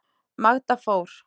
Magda fór.